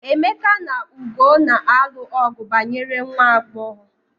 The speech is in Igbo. Emeka na Ugo na-alụ ọgu banyere nwa agbọghọ.